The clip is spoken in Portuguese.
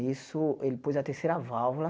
Isso, ele pôs a terceira válvula.